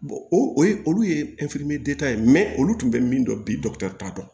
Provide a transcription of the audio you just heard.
o ye olu ye ye olu tun bɛ min dɔn bi dɔkitɛri t'a dɔn